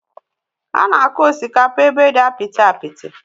Ánà akụ osikapa ébé dị apịtị apịtị